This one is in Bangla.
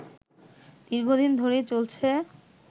দীর্ঘ দিন ধরেই চলছে